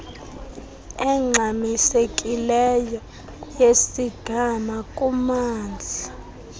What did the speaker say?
engxamisekileyo yesigama kumamndla